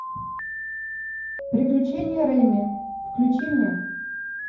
приключения реми включи мне